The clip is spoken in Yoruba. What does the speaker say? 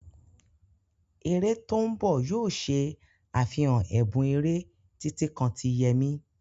Eré tó ń bọ̀ yóò ṣe àfihàn ẹ̀bùn eré, títí kan ti Yemi.